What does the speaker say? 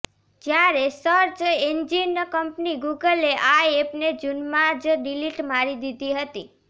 જ્યારે search engine company ગૂગલે આ એપને જૂનમાં જ ડિલીટ મારી દીધી હતી